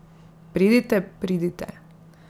Pridite, pridite.